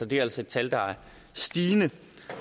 det er altså et tal der er stigende